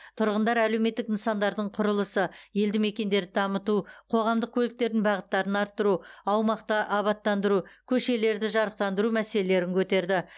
тұрғындар әлеуметтік нысандардың құрылысы елді мекендерді дамыту қоғамдық көліктердің бағыттарын арттыру аумақты абаттандыру көшелерді жарықтандыру мәселелерін көтерді